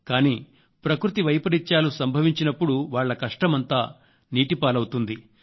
కానీ ప్రకృతి వైపరీత్యాలు సంభవించినప్పుడు వాళ్ళ కష్టమంతా నీటిపాలవుతుంది